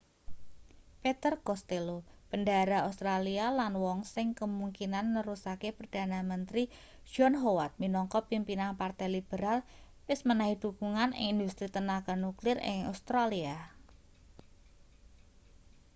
peter costello bendahara australia lan wong sing kemungkinan nerusake perdana menteri john howard minangka pimpinan partai liberal wis menehi dhukungan ing industri tenaga nuklir ing australia